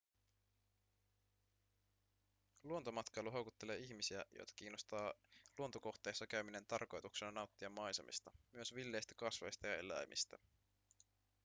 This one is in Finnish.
luontomatkailu houkuttelee ihmisiä joita kiinnostaa luontokohteissa käyminen tarkoituksena nauttia maisemista myös villeistä kasveista ja eläimistä